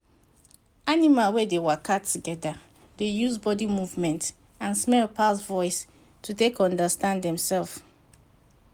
animal wey dey waka together dey use body movement and smell pass voice to take understand dem sef